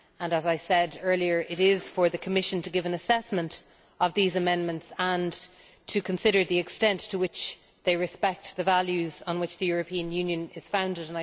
As I said earlier, it is up to the Commission to give an assessment of these amendments and to consider the extent to which they respect the values on which the European Union is founded.